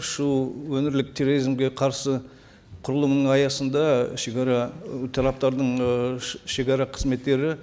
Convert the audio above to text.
шыұ өңірлік терроризмге қарсы құрылымының аясында шегара ы тараптардың ы шегара қызметтері